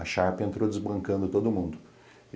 A Sharp entrou desbancando todo mundo.